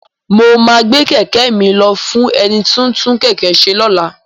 Mo máa gbé kẹ̀kẹ́ mi lọ fún ẹni tí ń tún kẹ̀kẹ́ ṣe lọ́la.